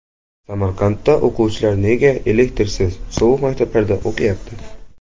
Samarqandda o‘quvchilar nega elektrsiz, sovuq maktablarda o‘qiyapti?